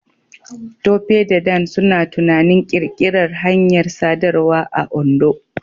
Tope da Dan suna tunanin ƙirƙirar hanyar sadarwa a Ondo.